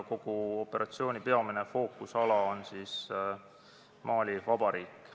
Kogu operatsiooni peamine fookusala on Mali Vabariik.